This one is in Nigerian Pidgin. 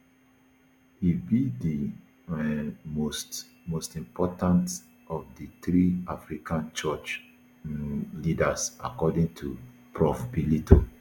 e be di um most most important of di three african church um leaders according to prof bellitto